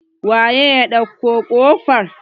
waye ya ɗauko kofar?